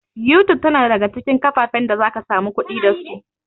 YouTube tana ɗaya daga cikin kafafen da zaka samu kuɗi da su